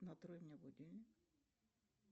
настрой мне будильник